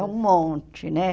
É um monte, né?